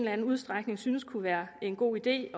anden udstrækning synes kunne være en god idé